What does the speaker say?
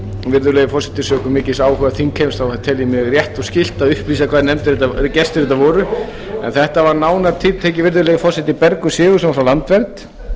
virðulegi forseti sökum mikils áhuga þingheims þá tel ég mér rétt og skylt að upplýsa hvaða gestir þetta voru þetta voru nánar tiltekið virðulegi forseti bergur sigurðsson frá landvernd